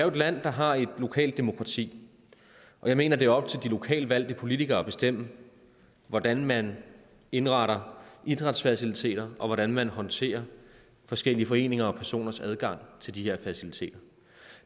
et land der har et lokalt demokrati og jeg mener det er op til de lokalt valgte politikere at bestemme hvordan man indretter idrætsfaciliteter og hvordan man håndterer forskellige foreninger og personers adgang til de her faciliteter